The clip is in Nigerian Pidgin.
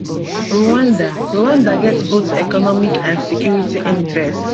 rwanda rwanda get both economic and security interests